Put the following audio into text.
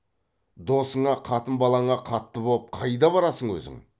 досыңа қатын балаңа қатты боп қайда барасың өзің